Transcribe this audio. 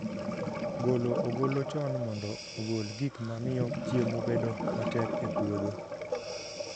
Golo ogolo chon mondo ogol gik ma miyo chiemo bedo matek e puodho